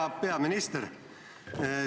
Hea peaminister!